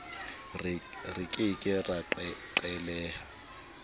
re ke ke ra qhelela